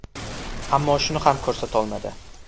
Ammo shuni ham ko‘rsatolmadi.